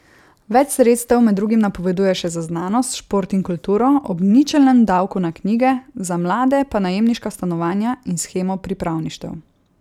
Več sredstev med drugim napovedujejo še za znanost, šport in kulturo ob ničelnem davku na knjige, za mlade pa najemniška stanovanja in shemo pripravništev.